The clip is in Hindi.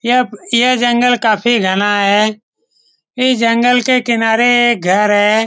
यह जंगल काफी घना है इस जंगल के किनारे एक घर है ।